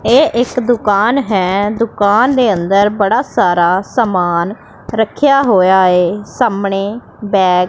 ਇਹ ਇੱਕ ਦੁਕਾਨ ਹੈ ਦੁਕਾਨ ਦੇ ਅੰਦਰ ਬੜਾ ਸਾਰਾ ਸਮਾਨ ਰੱਖਿਆ ਹੋਇਆ ਏ ਸਾਹਮਣੇ ਬੈਗ --